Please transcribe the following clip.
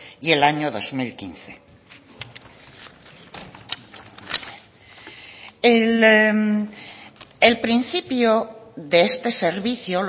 y el año dos mil quince el principio de este servicio